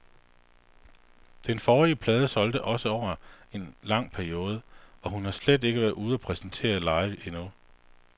Den forrige plade solgte også over en lang periode, og hun har slet ikke været ude og præsentere den live endnu.